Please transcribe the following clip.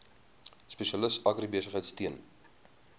spesialis agribesigheid steun